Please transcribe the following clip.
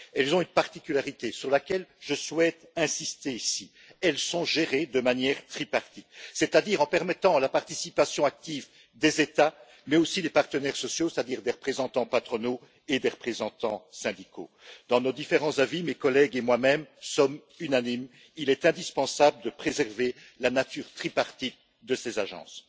Elles ont une particularité sur laquelle je souhaite insister elles sont gérées de manière tripartite, c'est à dire qu'elles permettent la participation active des États mais aussi des partenaires sociaux, à savoir les représentants patronaux et les représentants syndicaux. Dans nos différents avis, mes collègues et moi même sommes unanimes il est indispensable de préserver la nature tripartite de ces agences.